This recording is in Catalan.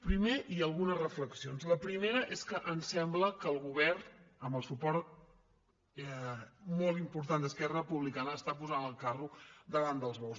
primer i algunes reflexions la primera és que em sembla que el govern amb el suport molt important d’esquerra republicana està posant el carro davant dels bous